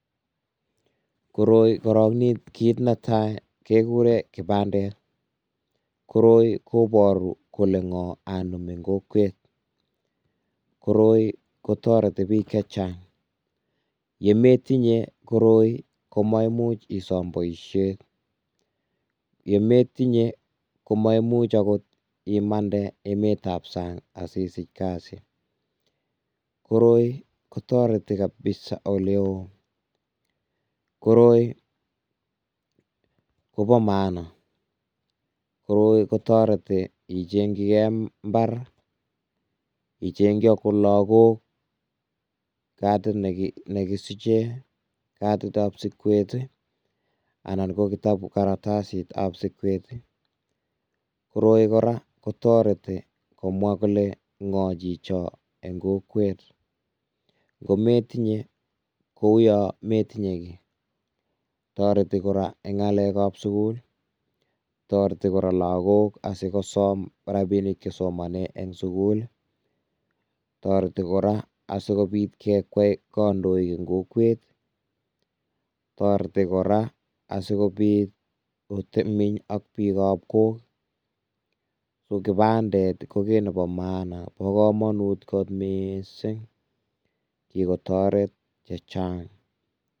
Koroi korong kit netai kekuren kibandet, koroi koboru kole ngo anum eng kokwet koroi kotoreti bik chechang, yemetinye koroi komesiche boisiet, yemetinye ko maimuch akot imande emet ab sang asisich kasi, koroi kotoreti kabiza oleo, koroi koboo maana, koroi kotoreti ichengchike imbar, ichengchi akot lakok kadit negigisiche, kadit ab siget, anan ko karatasit ab siget, koroi kotoreti kora komwa kole ngo jichon eng kokwet, ngometinye kou yon metinye kii, toreti kora eng ngalekab sukul, toreti kora lakok asikosom rabinik chesomonen eng sukul ii, toreti kora asikobit kekwey kandoik eng kokwet ii, toreti kora asikobit otebii ak bikab kok ii, kibandet ko kit nebo maana ak komonut kot mising, kikotoret chechang.